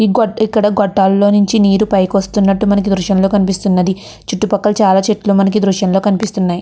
ఈ గోట్ ఇక్కడ గొట్టలు లో నించి నీరు పైకి వస్తున్నట్టు మనకి ఈ దృశ్యం లో కనిపిస్తునంది. చుట్టూ పక్కల చాలా చెట్లు మనకి ఈ దృశ్యం లో కనిపిస్తున్నాయి.